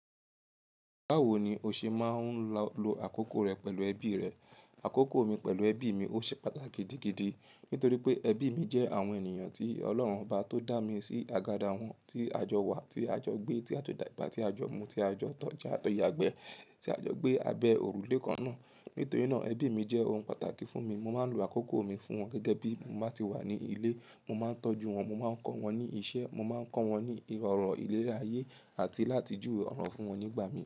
Báwo ni o ṣe máa ń lo àkókò rẹ pẹ̀lú ẹbí rẹ? Àkókò mi pẹ̀lú ẹbí mi ó ṣe pàtàkì gidigidi nítorí pé ẹbí mi jẹ́ àwọn ènìyàn tí Ọlọ́run bá tó dá mi sí àgàdà wọn, tí a jọ wà, tí a jọ gbé, tí a tó dàgbà, tí a jọ mu, tí a jọ tọ́, tí a tó yagbẹ́, tí a jọ gbé abẹ́ òrùlé kan náà. Nítorí náà ẹbí mi jẹ́ ohun pàtàkì fún mi. Mo máa ń lo àkókò mi fún wọn gẹ́gẹ́ bí mo bá ti wà ní ilé. Mo máa ń tọ́jú wọn, mo máa ń kọ́ wọn ní iṣẹ́, mo máa ń kọ́ wọn ní ọ̀rọ̀ ìleri ayé àti láti jù ọ̀rọ̀ fún wọn nígbà mìíràn.